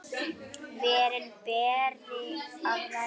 Verin beri að vernda.